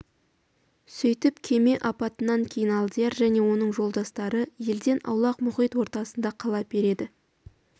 сөйтіп кеме апатынан кейін алдияр және оның жолдастары елден аулақ мұхит ортасында қала береді